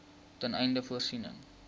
ten einde voorsiening